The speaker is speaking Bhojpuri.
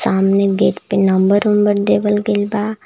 सामने गेट पे नंबर ओंबर देवल गईल बा।